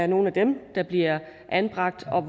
nogle af dem der bliver anbragt